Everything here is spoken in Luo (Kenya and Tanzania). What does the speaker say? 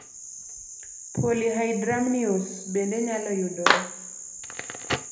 Polyhydramnios bende nyalo yudore